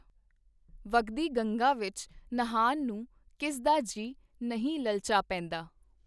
ਵਗਦੀ ਗੰਗਾ ਵਿਚ ਨਹਾਣ ਨੂੰ ਕਿਸ ਦਾ ਜੀ ਨਹੀਂ ਲਲਚਾ ਪੇਂਦਾ!.